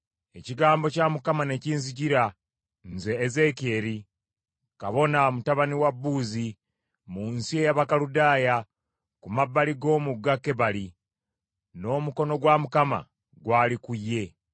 ekigambo kya Mukama ne kinzijjira, nze Ezeekyeri kabona, mutabani wa Buuzi, mu nsi ey’Abakaludaaya ku mabbali g’omugga Kebali, n’omukono gwa Mukama gwali ku ye.